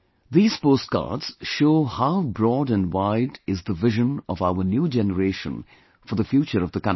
These postcards show how broad and wide is the vision of our new generation for the future of the country